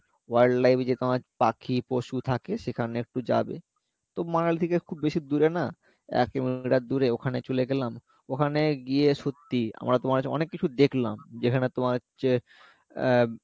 wildlife যে তোমার পাখি পশু থাকে সেখানে একটু যাবে তো Manali থেকে খুব বেশি দূরে না এক কিলোমিটার দূরে ওখানে চলে গেলাম ওখানে গিয়ে সত্যিই আমরা তোমার হচ্ছে অনেককিছু দেখলাম যেখানে তোমার হচ্ছে আহ